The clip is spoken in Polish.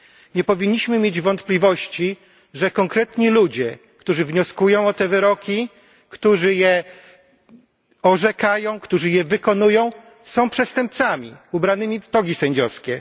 Nie powinniśmy mieć wątpliwości, że konkretni ludzie, którzy wnioskują o te wyroki, którzy je orzekają, którzy je wykonują, są przestępcami ubranymi w togi sędziowskie.